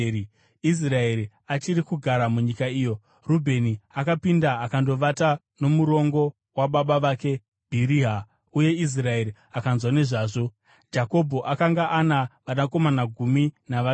Israeri achiri kugara munyika iyo, Rubheni akapinda akandovata nomurongo wababa vake Bhiriha, uye Israeri akanzwa nezvazvo. Jakobho akanga ana vanakomana gumi navaviri: